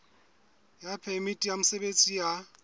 ya phemiti ya mosebetsi ya